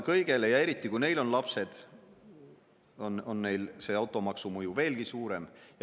Ja kui neil on lapsed, siis on automaksu mõju neile veelgi suurem.